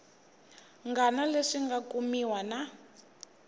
ngana leswi nga kumiwa na